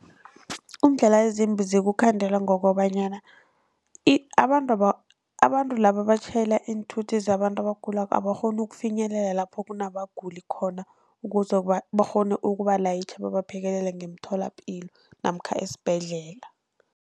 Iindlela ezimbi zikukhandela ngokobanyana abantu abantu laba abatjhayela iinthuthi zabantu abagulako abakghoni ukufinyelela lapho kunabaguli khona ukuze bakghone ukubalayitjha babaphekelele emtholapilo namkha esibhedlela.